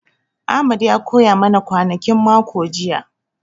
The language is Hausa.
Ahmed ya koya ma na kwanakin mako jiya